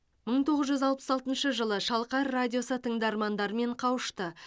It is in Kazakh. мың тоғыз жүз алпыс алтыншы жылы шалқар радиосы тыңдармандарымен қауышты